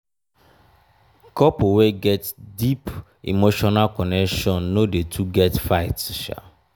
couple wey get deep emotional connection no dey too get fight.